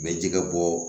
N bɛ jɛgɛ bɔ